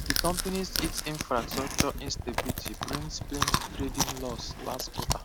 di companys it infrastructure instability bring plenty trading losses last quarter